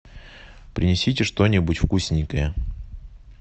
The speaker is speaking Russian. принесите что нибудь вкусненькое